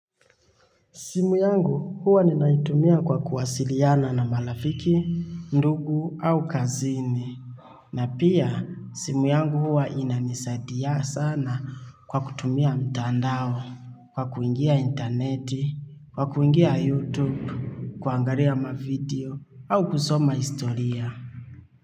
Simu yangu huwa ni naitumia kwa kuwasiliana na marafiki, ndugu au kazini. Na pia simu yangu huwa inanisaidia sana kwa kutumia mtandao, kwa kuingia interneti, kwa kuingia youtube, kuangalia mavideo au kusoma historia.